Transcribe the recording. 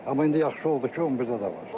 Amma indi yaxşı oldu ki, 11-də də var.